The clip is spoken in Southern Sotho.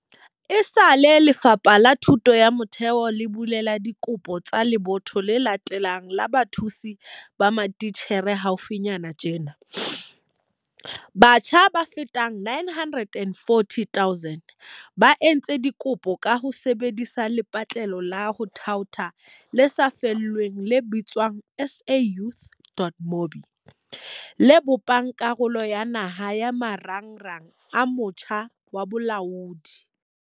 Esale Lefapha la Thuto ya Motheo le bulela dikopo tsa lebotho le latelang la bathusi ba matitjhere haufinyana tjena, batjha ba fetang 940 000 ba entse dikopo ka ho sebe disa lepatlelo la ho thaotha le sa lefellweng le bitswang SA Youth.mobi, le bopang karolo ya naha ya Marangrang a Motjha wa Bolaodi.